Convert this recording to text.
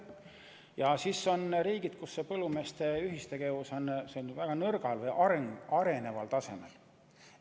Ja siis on riigid, kus põllumeeste ühistegevus on väga nõrgal tasemel, alles areneb.